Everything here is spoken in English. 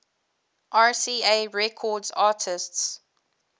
rca records artists